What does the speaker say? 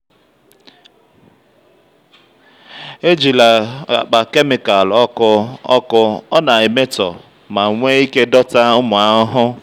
ejila akpa kemịkal ọkụ ọkụ ọ na-emetọ ma nwee ike dọta ụmụ ahụhụ.